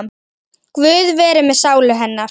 Guð veri með sálu hennar.